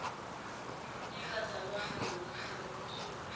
engakazalwa amaseli omsuka